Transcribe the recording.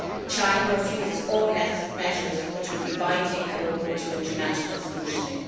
China refuses all measures which would be binding and open to international scrutiny.